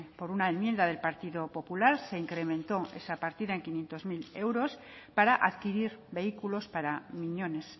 por una enmienda del partido popular se incrementó esa partida en quinientos mil euros para adquirir vehículos para miñones